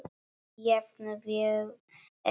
Jafnvel ekki ömmur.